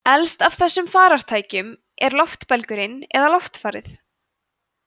elst af þessum farartækjum er loftbelgurinn eða loftfarið